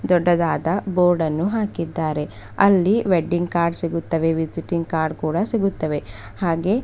ದೊಡ್ಡದಾದ ಬೋರ್ಡನ್ನು ಹಾಕಿದ್ದಾರೆ ಅಲ್ಲಿ ವೆಡ್ಡಿಂಗ್ ಕಾರ್ಡ್ ಸಿಗುತ್ತವೆ ವಿಸಿಟಿಂಗ್ ಕಾರ್ಡ್ ಕೂಡ ಸಿಗುತ್ತವೆ ಹಾಗೆ--